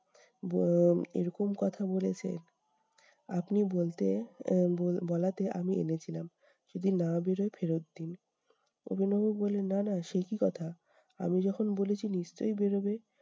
এরকম কথা বলেছে! আপনি বলতে আহ বলাতে আমি এনেছিলাম। যদি না বেরোয় ফেরত দিন। উপেন বাবু বললেন- না, না সে কি কথা! আমি যখন বলেছি নিশ্চই বেরোবে।